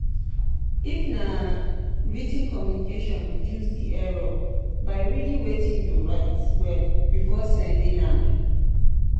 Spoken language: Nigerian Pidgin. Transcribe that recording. if na writ ten communication reduce di error by reading wetin you write well before sending um